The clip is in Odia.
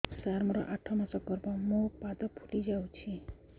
ସାର ମୋର ଆଠ ମାସ ଗର୍ଭ ମୋ ପାଦ ଫୁଲିଯାଉଛି